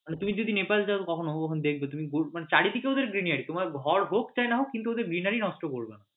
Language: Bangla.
মানে তুমি যদি নেপালে যাও কখনো দেকবে তুমি মানে চারিদিকে ওদের greenery তোমার ঘর হোক চাই না হোক greenery নষ্ট করবে না